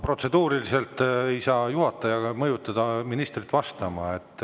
Protseduuriliselt ei saa juhataja mõjutada ministrit vastama.